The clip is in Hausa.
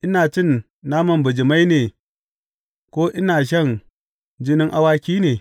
Ina cin naman bijimai ne ko ina shan jinin awaki ne?